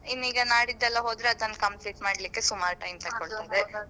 ಇನ್ನೀಗ ನಾಡಿದ್ದೆಲ್ಲಾ ಹೋದ್ರೆ ಅದನ್ನು complete ಮಾಡ್ಲಿಕ್ಕೆಸುಮಾರು time ತೊಕ್ಕೋಳ್ತದೆ.